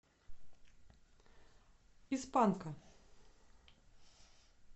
из панка